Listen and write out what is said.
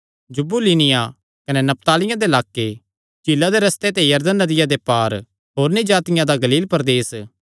जबूलूनियां कने नप्तालियां दे लाक्के झीला दे रस्ते ते यरदन नदिया दे पार होरनी जातिआं दा गलील प्रदेस